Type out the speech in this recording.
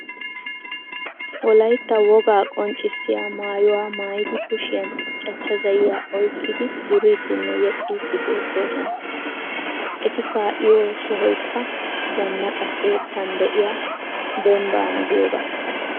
Wolayitta wogaa qonccissiya maayuwa mayidi kushiyan cachcha zayyiya oyikkidi duriiddinne yexxiiddi beettoosona. Eti kaa'iyo sohoyikka zannaqa keettan de'iya dembbaana giyogaa.